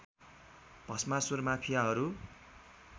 Bhasmasur माफियाहरू